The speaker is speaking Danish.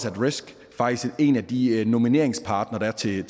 at risk faktisk en af de nomineringspartnere der er til